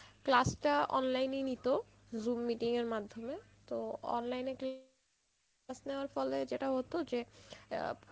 class টা online এই নিত zoom meeting এর মাধ্যমে তো online এ কি, class নেওয়ার ফলে যেটা হত যে আহ